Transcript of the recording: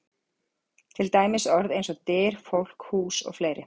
Til dæmis orð eins og: Dyr, fólk, hús og fleiri?